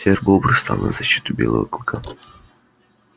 серый бобр стал на защиту белого клыка